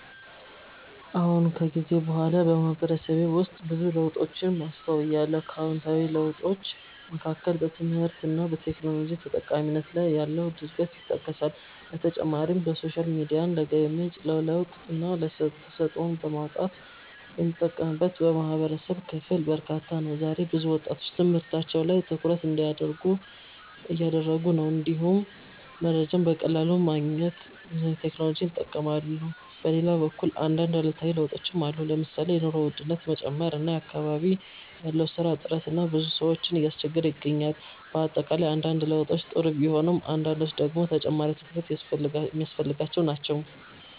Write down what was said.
አዎን። ከጊዜ በኋላ በማህበረሰቤ ውስጥ ብዙ ለውጦችን አስተውያለሁ። ከአዎንታዊ ለውጦች መካከል በትምህርት እና በቴክኖሎጂ ተጠቃሚነት ላይ ያለው እድገት ይጠቀሳል። በተጨማሪም ሶሻል ሚዲያን ለገቢ ምንጭ፣ ለለውጥና ተሰጥኦን ለማውጣት የሚጠቀምበት የማህበረሰብ ክፍል በርካታ ነው። ዛሬ ብዙ ወጣቶች በትምህርታቸው ላይ ትኩረት እያደረጉ ነው፣ እንዲሁም መረጃን በቀላሉ ለማግኘት ቴክኖሎጂን ይጠቀማሉ። በሌላ በኩል አንዳንድ አሉታዊ ለውጦችም አሉ። ለምሳሌ የኑሮ ውድነት መጨመር እና በአካባቢ ያለው የስራ እጥረት ብዙ ሰዎችን እያስቸገረ ይገኛል። በአጠቃላይ አንዳንድ ለውጦች ጥሩ ቢሆኑም አንዳንዶቹ ደግሞ ተጨማሪ ትኩረት የሚያስፈልጋቸው ናቸው።